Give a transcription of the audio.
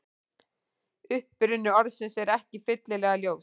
Uppruni orðsins er ekki fyllilega ljós.